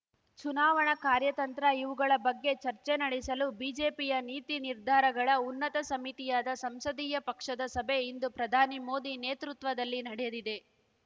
ಚುನಾವಣಾ ಕಾರ್ಯತಂತ್ರ ಇವುಗಳ ಬಗ್ಗೆ ಚರ್ಚೆ ನಡೆಸಲು ಬಿಜೆಪಿಯ ನೀತಿ ನಿರ್ಧಾರಗಳ ಉನ್ನತ ಸಮಿತಿಯಾದ ಸಂಸದೀಯ ಪಕ್ಷದ ಸಭೆ ಇಂದು ಪ್ರಧಾನಿ ಮೋದಿ ನೇತೃತ್ವದಲ್ಲಿ ನಡೆದಿದೆ